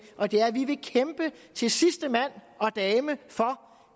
og det er at vi vil kæmpe til sidste mand og dame for